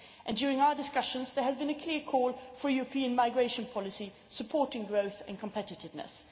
During our discussions there has been a clear call for a European migration policy supporting growth and competitiveness.